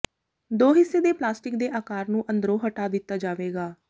ਦੋ ਹਿੱਸੇ ਦੇ ਪਲਾਸਟਿਕ ਦੇ ਆਕਾਰ ਨੂੰ ਅੰਦਰੋਂ ਹਟਾ ਦਿੱਤਾ ਜਾਵੇਗਾ